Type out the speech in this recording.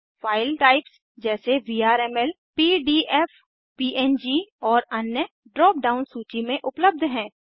file types जैसे VRML PDF PNG और अन्य ड्राप डाउन सूची में उपलब्ध हैं